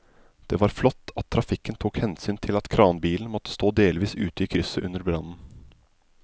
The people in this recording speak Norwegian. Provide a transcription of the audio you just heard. Det var flott at trafikken tok hensyn til at kranbilen måtte stå delvis ute i krysset under brannen.